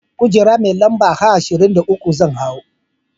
Kujera mai lamba H23 zan hau.